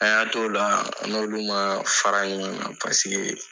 An y'an t'ola an n'olu man fara ɲɔgɔn na paseke.